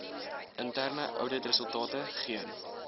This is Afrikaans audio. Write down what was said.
interne ouditresultate geen